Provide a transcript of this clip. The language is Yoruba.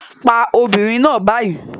Pa obìnrin náà báyìí